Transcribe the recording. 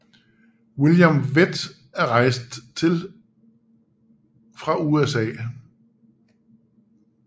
William Vett er rejst til fra USA